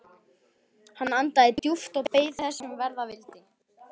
Hann andaði djúpt og beið þess sem verða vildi.